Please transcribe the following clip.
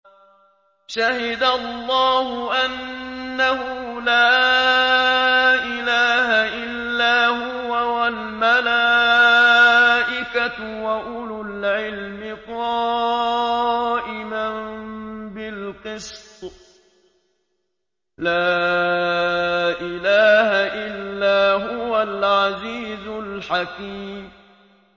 شَهِدَ اللَّهُ أَنَّهُ لَا إِلَٰهَ إِلَّا هُوَ وَالْمَلَائِكَةُ وَأُولُو الْعِلْمِ قَائِمًا بِالْقِسْطِ ۚ لَا إِلَٰهَ إِلَّا هُوَ الْعَزِيزُ الْحَكِيمُ